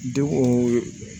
Denw